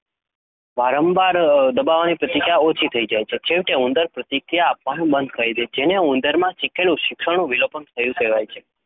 વારંવાર દબાવવાની પ્રતિક્રિયા ઓછી થઈ જાય છે અને છેવટે ઉંદર પ્રતિક્રિયા આપવાનું બંધ કરી દે છે જેને ઉંદરમાં શીખેલા શિક્ષણનું વિલોપન થયું કહેવાય.